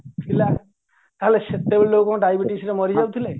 ଥିଲା ତାହାଲେ ସେତେବେଳେ ଲୋକ ଡାଇବେଟିସରେ ମରି ଯାଉଥିଲେ